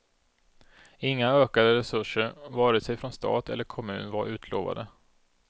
Inga ökade resurser vare sig från stat eller kommun var utlovade.